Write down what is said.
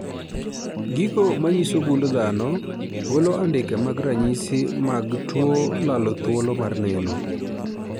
Gigo manyiso gund dhano golo andike mag ranyisi mag tuo lalo thuolo mar neno .